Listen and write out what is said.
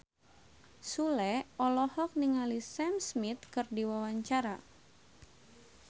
Sule olohok ningali Sam Smith keur diwawancara